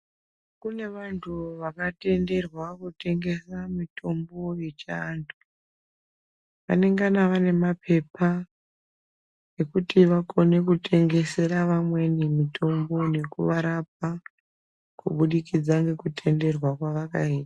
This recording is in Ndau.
Kune vandu vakatenderwa kutengesa mitombo yechi andu anenge ane mapepa ekuti vakone kutengesera vamweni mitombo nekuva rapa kubudikidza nekutenderwa kwavakaitwa.